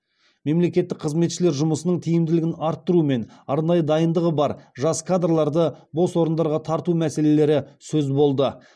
мемлекеттік қызметшілер жұмысының тиімділігін арттыру мен арнайы дайындығы бар жас кадрларды бос орындарға тарту мәселелері сөз болды